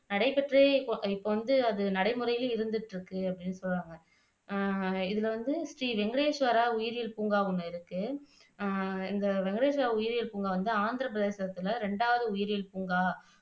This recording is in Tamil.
நடைபெற்று இப்போ வந்து அது நடைமுறையில இருந்துட்டு இருக்கு அப்படின்னு சொல்றாங்க அஹ் இதுல வந்து ஸ்ரீ வெங்கடேஸ்வரா உயிரியல் பூங்கா ஒன்னு இருக்கு அஹ் இந்த ஸ்ரீ வெங்கடேஸ்வரா உயிரியல் பூங்கா வந்து ஆந்திரப்பிரதேசத்துல இரண்டாவது உயிரியல் பூங்கா